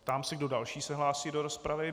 Ptám se, kdo další se hlásí do rozpravy.